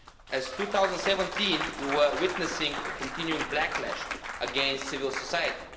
as in 2017 we were witnessing a continuing backlash against civil society.